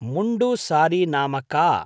मुण्डु सारी नाम का?